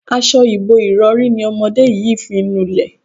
As̩o̩ ìbo-ìrò̩rí ni o̩mo̩dé yìí fi ń nulè̩.